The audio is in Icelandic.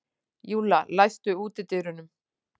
Júlla, læstu útidyrunum.